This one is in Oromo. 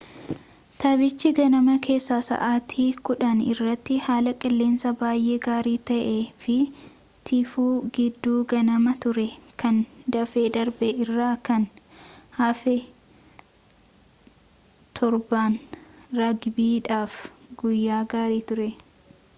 taphichi ganama keessaa sa'aatii 10:00 irratti haala qilleensaa baay'ee gaarii ta'ee fi tiifuu giidduu ganamaa ture kan dafee darbee irraa kan hafe 7ttan raagbiidhaaf guyyaa gaarii ture